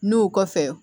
N'u kɔfɛ